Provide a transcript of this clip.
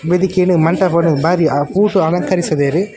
ವೆದಿಕೆನ್ ಮಂಟಪಡ್ ಬಾರಿ ಅ ಪೂಟ್ ಬಾರಿ ಅಲಂಕರಿಸಿದೆರ್ .